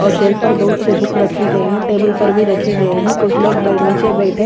और शेल्फ पर बहुत से बुक रखे गए हैं टेबल पर भी रखे गए हैं कुछ लोग नीचे बैठे--